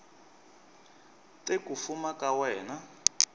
te ku fuma ka wena